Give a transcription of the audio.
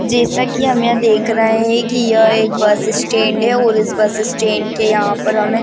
जैसा की हम यहाँ देख रहे हैं की यह एक बस स्टैंड है और इस बस स्टैंड के यहाँ पर हमे --